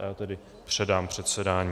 A já tedy předám předsedání.